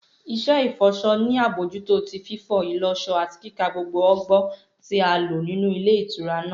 Iṣẹ ifọṣọ ni abojuto ti fifọ, ìlọṣọ ati kika gbogbo ọgbọ ti a lo ninu ìle ìtura naa.